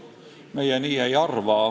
Meie nii ei arva.